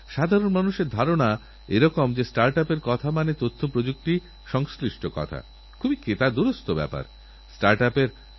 যদি আমরাআমাদের খেতের ধারে এরকম গাছের চারা লাগাই যেগুলো আসবাবপত্রে ও ঘর বানাতে কাজেলাগবে তাহলে ১৫২০ বছর পরে সরকারী অনুমতি নিয়ে ওদের কেটে বিক্রিও করতে পারেন আপনি